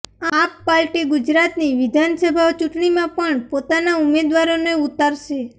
આપ પાર્ટી ગુજરાતની વિધાનસભા ચૂંટણીમાં પણ પોતાના ઉમેદવારોને ઉતારશે